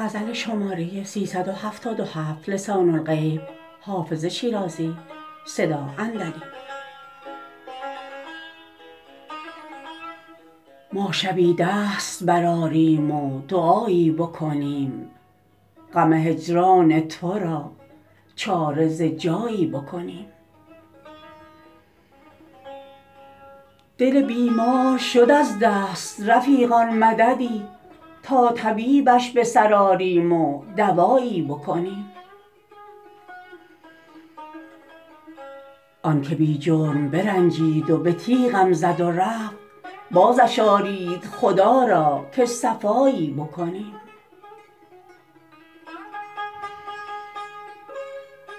ما شبی دست برآریم و دعایی بکنیم غم هجران تو را چاره ز جایی بکنیم دل بیمار شد از دست رفیقان مددی تا طبیبش به سر آریم و دوایی بکنیم آن که بی جرم برنجید و به تیغم زد و رفت بازش آرید خدا را که صفایی بکنیم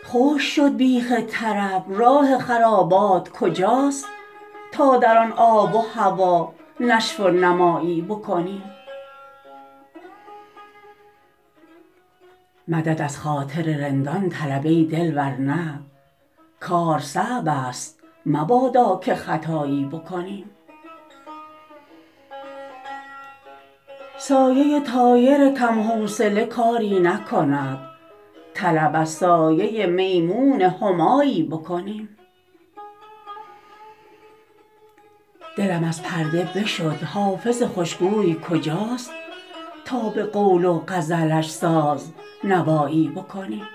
خشک شد بیخ طرب راه خرابات کجاست تا در آن آب و هوا نشو و نمایی بکنیم مدد از خاطر رندان طلب ای دل ور نه کار صعب است مبادا که خطایی بکنیم سایه طایر کم حوصله کاری نکند طلب از سایه میمون همایی بکنیم دلم از پرده بشد حافظ خوش گوی کجاست تا به قول و غزلش ساز نوایی بکنیم